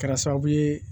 Kɛra sababu ye